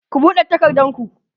ku buɗe takardun ku!